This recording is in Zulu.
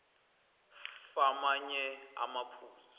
f amanye amaphuzu